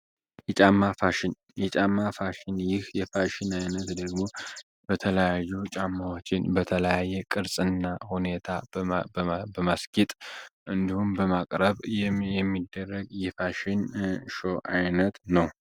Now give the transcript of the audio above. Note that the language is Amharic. የጫማ ፋሽን የጫማ ፋሽን ይሄ ፋሽን አይነት የተለያዩ ጫማዎችን በተለያየ ቅርጽና ሁኔታ እንዲሁም በማቅረብ የሚደረግ የፋሽን ሾው ዓይነት ነው።